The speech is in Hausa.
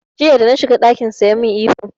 Jiya da na shiga ɗakinsa ya min ihu.